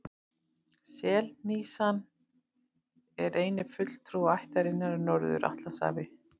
Selhnísan er eini fulltrúi ættarinnar í Norður-Atlantshafi.